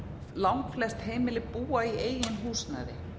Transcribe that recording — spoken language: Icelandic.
langflest heimili búa í eigin húsnæði